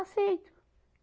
Aceito.